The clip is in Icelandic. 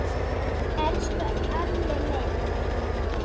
Elsku Alli minn.